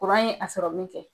Kuran ye a sɔrɔ min kɛ.